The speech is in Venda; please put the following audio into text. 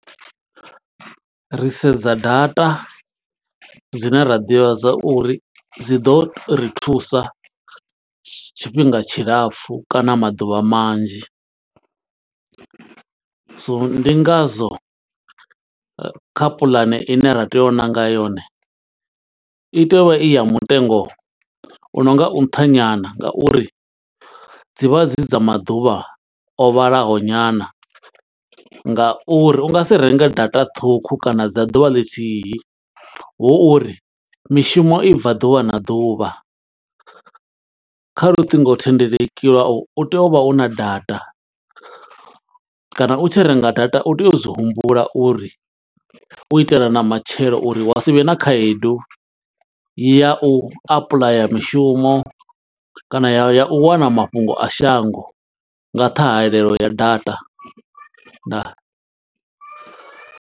Ri sedza data dzine ra ḓivha zwa uri dzi ḓo ri thusa tshifhinga tshilapfu, kana maḓuvha manzhi. So ndi nga zwo kha puḽane ine ra tea u nanga yone, i tea uvha i ya mutengo u no nga u nṱha nyana, nga uri dzivha dzi dza maḓuvha o vhalaho nyana. Nga uri u nga si renge data ṱhukhu kana dza ḓuvha ḽithihi, hu uri mishumo i bva ḓuvha na ḓuvha. Kha luṱingothendeleki lwau u tea u vha u na data, kana u tshi renga data u tea u zwi humbula uri u itela na matshelo, uri wa sivhe na khaedu ya u apuḽaya mishumo. Kana ya ya u wana mafhungo a shango nga ṱhahelelo ya data. Ndaa.